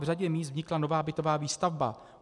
V řadě míst vznikla nová bytová výstavba.